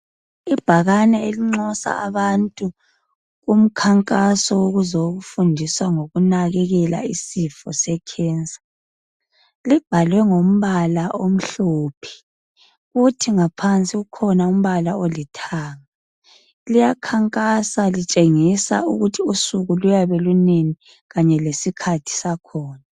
Ibhakane elinxusa abantu kumkhankaso wokuzofundiswa ngokunakekela isifo secancer. Libhalwe ngombala omhlophe kuthi ngaphansi kukhona umbala olithanga. Liyakhankasa lutshengisa ukuthi usuku luyabe lunini kanye lesikhathi sakhona.